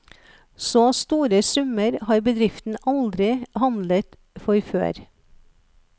Så store summer har bedriften aldri handlet for før.